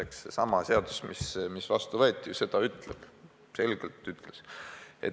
Seesama seadus, mis vastu võeti, ju seda selgelt ütleb.